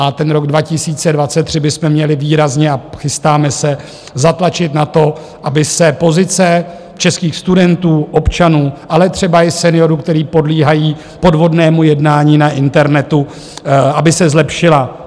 A ten rok 2023 bychom měli výrazně - a chystáme se zatlačit na to, aby se pozice českých studentů, občanů, ale třeba i seniorů, kteří podléhají podvodnému jednání na internetu, aby se zlepšila.